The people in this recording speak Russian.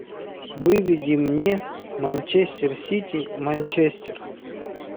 выведи мне манчестер сити манчестер